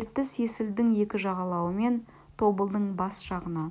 ертіс есілдің екі жағалауы мен тобылдың бас жағына